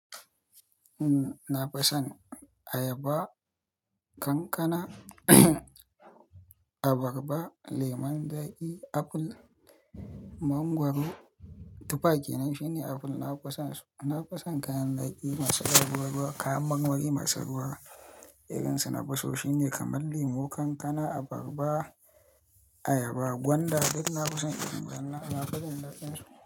Umm, na fison ayaba, kankana, abarba, lemon zaki, aful, mangwaro. Tufa kenan shine aful, na fison su. Na fison kayan zaki masu dan ruwa ruwa, kayan marmari masu ruwa. Irin su na fiso shine kamar lemu, kankana, abarba, ayaba, gwanda. Duk na fison irin wayannan, nafi jin dadin su.